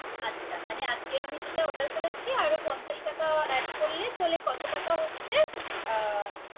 আচ্ছা মানে আজকে আমি যেটা Order করেছি। আরা পঞ্চাস টাকা Add করতে তাহলে কত টাকা হচ্ছে।